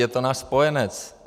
Je to náš spojenec.